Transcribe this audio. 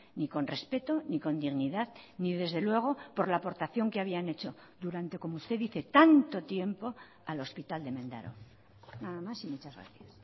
ni con respeto ni con dignidad ni desde luego por la aportación que habían hecho durante como usted dice tanto tiempo al hospital de mendaro nada más y muchas gracias